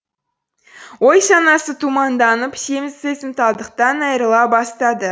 ой санасы тұманданып сезімталдықтан айрыла бастады